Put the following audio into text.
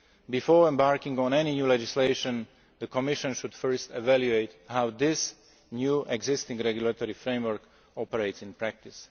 Before embarking on any new legislation, the Commission should first evaluate how this new existing regulatory framework operates in practice.